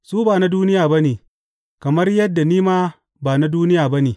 Su ba na duniya ba ne, kamar yadda ni ma ba na duniya ba ne.